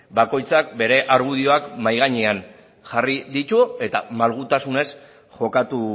bakoitzak bere argudioak mahai gainean jarri ditu eta malgutasunez jokatu